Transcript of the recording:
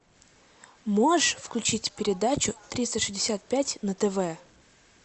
можешь включить передачу триста шестьдесят пять на тв